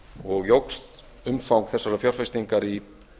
og jókst umfang þessarar fjárfestingar í